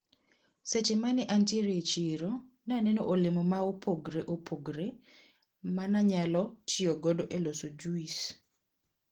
Seche mane antiere e chiro, naneno olemo maopogre opogre mananyalo tiyo godo e loso juis.